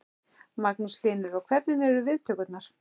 Magnús Hlynur: Og hvernig eru viðtökurnar?